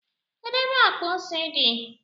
kedu ebe akpa ose di?